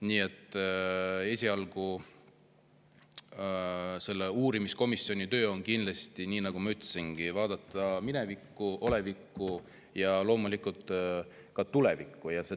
Nii et esialgu selle uurimiskomisjoni töö on kindlasti, nagu ma ütlesin, vaadata minevikku, olevikku ja loomulikult ka tulevikku.